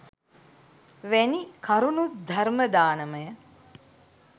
වැනි කරුණුත් ධර්ම දානමය